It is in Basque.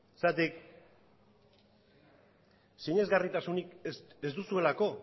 zergatik sinesgarritasunik ez duzuelako